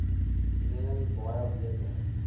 mening baie beter